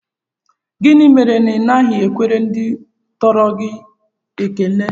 Gịnị mere na Ị naghị ekwere ndị tọrọ gị ekele?